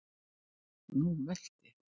Nú velt ég!